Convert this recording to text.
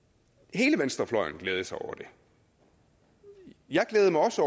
hele venstrefløjen glædede sig over det jeg glædede mig også